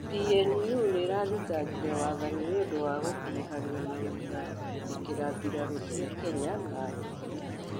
PNU nĩirathĩtangĩre wathanĩ nĩũndũ wa gũkũrũhanĩo na gũtharĩkĩra bĩrarû cĩa Kenya na borĩthĩ